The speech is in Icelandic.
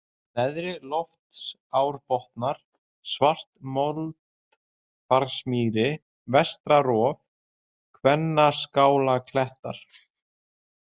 Neðri-Loftsárbotnar, Svartamoldflagsmýri, Vestra-Rof, Kvennaskálaklettar